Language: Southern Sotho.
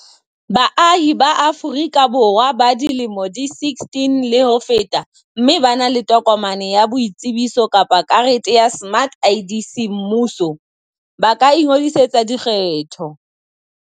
Baahi ba Aforika Borwa ba dilemo di 16 le ho feta mme ba na le tokomane ya boitsebiso kapa karete ya smart ID semmuso, ba ka ingodisetsa dikgetho.